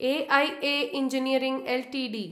AIA engineering Ltd